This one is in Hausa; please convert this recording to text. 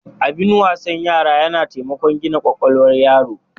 Abin wasan yara yana taimakon gina kwakwalwar yaro.